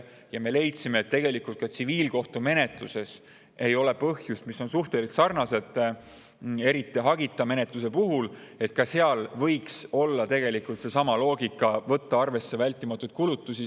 Ja me leidsime, et ka tsiviilkohtumenetluses, mis on suhteliselt sarnane, eriti hagita menetlus, võiks olla tegelikult seesama loogika, et võtta arvesse vältimatuid kulutusi.